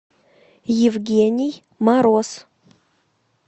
евгений мороз